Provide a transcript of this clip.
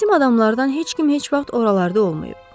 Bizim adamlardan heç kim heç vaxt oralarda olmayıb.